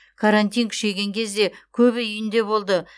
карантин күшейген кезде көбі үйінде болды